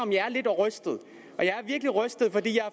jeg er lidt rystet og jeg er virkelig rystet fordi jeg